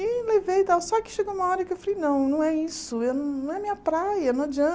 E levei e tal, só que chegou uma hora que eu falei, não, não é isso, eu não é minha praia, não